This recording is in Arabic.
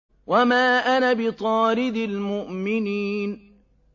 وَمَا أَنَا بِطَارِدِ الْمُؤْمِنِينَ